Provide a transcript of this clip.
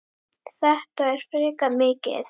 Þetta er frekar mikið.